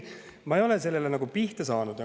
Ma ei ole sellele nagu kuidagi pihta saanud.